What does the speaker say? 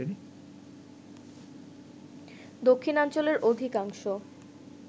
দক্ষিণাঞ্চলের অধিকাংশ